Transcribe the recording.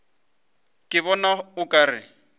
ke bona o ka re